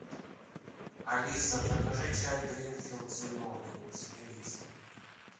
алиса закажи чай гринфилд зеленый с мелиссой